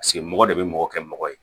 Paseke mɔgɔ de bɛ mɔgɔ kɛ mɔgɔ ye